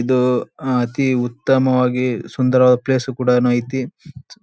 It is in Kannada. ಇದು ಅಹ್ ಅತಿ ಉತ್ತಮವಾಗಿ ಸುಂದರವಾದ ಪ್ಲೇಸ್ ಕೂಡನು ಐತಿ